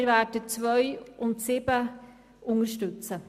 Wir werden die Planungserklärungen 2 und 7 unterstützen.